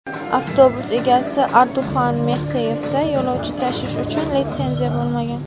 avtobus egasi Orduxan Mextiyevda yo‘lovchi tashish uchun litsenziya bo‘lmagan.